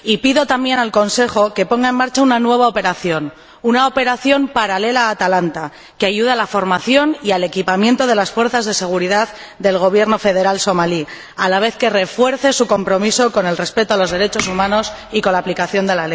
Y pido también al Consejo que ponga en marcha una nueva operación, una operación paralela a Atalanta, que ayude a la formación y al equipamiento de las fuerzas de seguridad del Gobierno federal somalí a la vez que refuerza su compromiso con el respeto de los derechos humanos y con la aplicación de